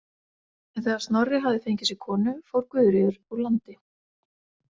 En þegar Snorri hafði fengið sér konu, fór Guðríður úr landi.